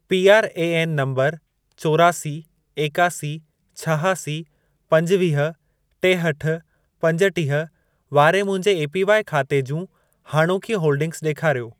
PRAN number चोरासी, एकासी, छहासी, पंजवीह, टेहठि, पंजटीह वारे मुंहिंजे एपीवाई खाते जूं हाणोकियूं होल्डिंगस ॾेखारियो।